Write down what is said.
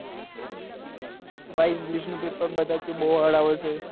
ભાઈ english નું paper બધા એ બઉ hard આવે છે